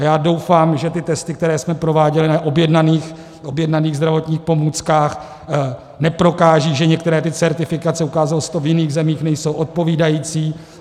A já doufám, že ty testy, které jsme prováděli na objednaných zdravotních pomůckách, neprokážou, že některé ty certifikace, ukázalo se to v jiných zemích, nejsou odpovídající.